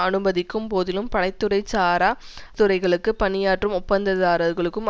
அனுமதிக்கும் போதிலும் படை துறை சாரா அரசுத்துறைகளுக்கு பணியாற்றும் ஒப்பந்ததாரர்களுக்கு